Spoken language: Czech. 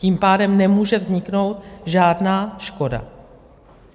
Tím pádem nemůže vzniknout žádná škoda.